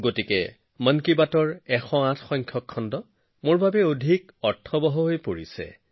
বন্ধুসকল মন কী বাত শুনি বহুতে মোক লিখি নিজৰ স্মৰণীয় মুহূৰ্তবোৰ শ্বেয়াৰ কৰিছে